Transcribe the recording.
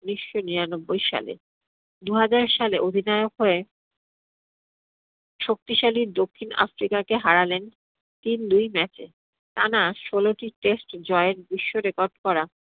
উনিশশো নিরানব্বই সালে। দুহাজার সালে অধিনায়ক হয়ে শক্তিশালী দক্ষিণ আফ্রিকাকে হারালেন তিন দুই match এ। টানা ষোলটি test জয়ের বিশ্ব record করা